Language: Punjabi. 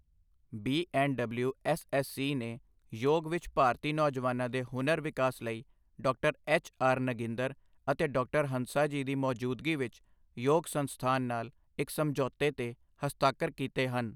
B and W S S C ਨੇ ਯੋਗ ਵਿੱਚ ਭਾਰਤੀ ਨੌਜਵਾਨਾਂ ਦੇ ਹੁਨਰ ਵਿਕਾਸ ਲਈ ਡਾਕਟਰ ਐੱਚ.ਆਰ. ਨਗਿੰਦਰ ਅਤੇ ਡਾਕਟਰ ਹੰਸਾਜੀ ਦੀ ਮੌਜੂਦਗੀ ਵਿੱਚ ਯੋਗ ਸੰਸਥਾਨ ਨਾਲ ਇੱਕ ਸਮਝੌਤੇ ਤੇ ਹਸਤਾਖਰ ਕੀਤੇ ਹਨ।